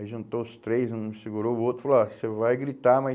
Aí juntou os três, um segurou o outro, falou, ah, você vai gritar, mas